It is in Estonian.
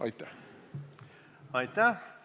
Aitäh!